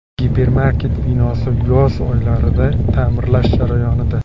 Gipermarket binosi yoz oylaridagi ta’mirlash jarayonida.